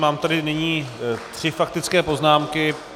Mám tady nyní tři faktické poznámky.